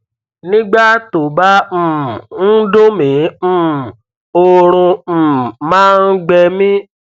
nígbà tó bá um ń dùn mí um oorun um máa ń gbẹ mí